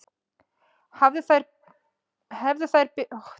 Hefðu þær verið betur varðar gætu þeir hafa knúið fram sigur.